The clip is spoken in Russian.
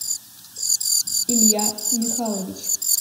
илья михайлович